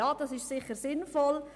Ja, das ist sicher sinnvoll.